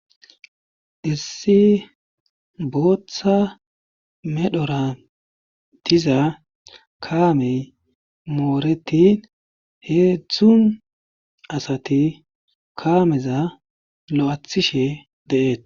Issi bootha medhora diza kaamey moretin hedzdzu asati kaameza lo'ethishe de'etesi.